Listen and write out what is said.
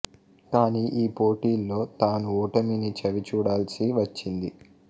కాని ఈ పోటీలో తాను ఓటమిని చవి చూడాల్సి వచ్చింది